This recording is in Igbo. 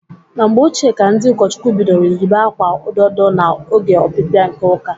Na mgbe ochie ka ndị ụkọchukwu bidoro yiba akwa ododo na oge ọpịpịa nke ụka.